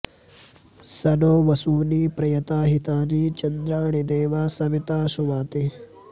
स नो॒ वसू॑नि॒ प्रय॑ता हि॒तानि॑ च॒न्द्राणि॑ दे॒वः स॑वि॒ता सु॑वाति